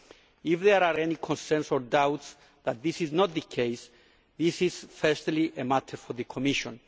If there are any concerns or doubts that this is not the case, this is firstly a matter for the Commission.